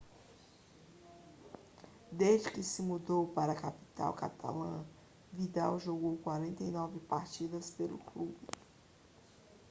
desde que se mudou para a capital catalã vidal jogou 49 partidas pelo clube